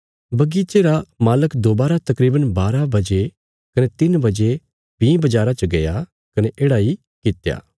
बगीचे रा मालक दोबारा तकरीवन बारा बजे कने तिन्न बजे भीं बजारा च गया कने येढ़ा इ कित्या